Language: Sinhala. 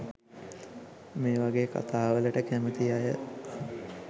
මේවගේ කතා වලට කැමති අය